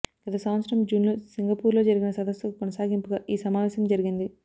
గత సంవత్సరం జూన్లో సింగపూర్లో జరిగిన సదస్సుకు కొనసాగింపుగా ఈ సమావేశం జరిగింది